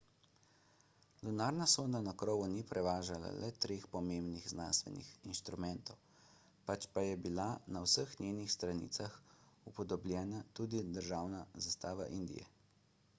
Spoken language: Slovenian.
lunarna sonda na krovu ni prevažala le treh pomembnih znanstvenih inštrumentov pač pa je bila na vseh njenih stranicah upodobljena tudi državna zastava indije